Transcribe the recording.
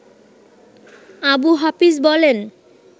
আবু হাফিজ বলেন